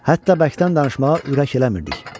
Hətta bərkdən danışmağa ürək eləmirdik.